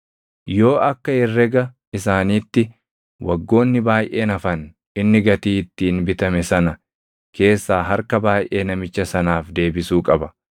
Yoo akka herrega isaaniitti waggoonni baayʼeen hafan inni gatii ittiin bitame sana keessaa harka baayʼee namicha sanaaf deebisuu qaba.